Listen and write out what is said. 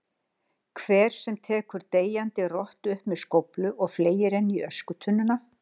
hvern sem tekur deyjandi rottu upp með skóflu og fleygir henni í öskutunnuna.